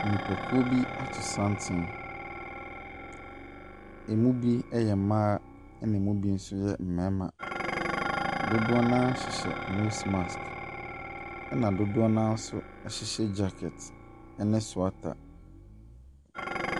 Nipakuo bi ato santene. Ɛmu bi yɛ mmaa, ɛna ɛmu bi nso yɛ mmarima. Dodoɔ no ara hyehyɛ nose mask, ɛna dodoɔ no ara nso hyehyɛ jackets ne sweater,.